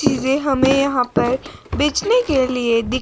चीजें हमें यहां पर बेचने के लिए दि--